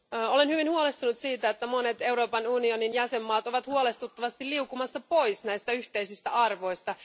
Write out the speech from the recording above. Olen hyvin huolestunut siitä, että monet Euroopan unionin jäsenvaltiot ovat huolestuttavasti liukumassa pois näistä yhteisistä arvoista.